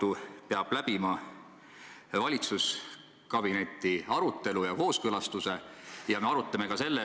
Miks peab see läbima valitsuskabineti arutelu ja kooskõlastuse?